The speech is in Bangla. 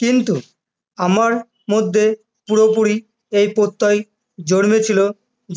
কিন্ত আমার মধ্যে পুরোপুরি এই প্রত্যয় জন্মেছিলো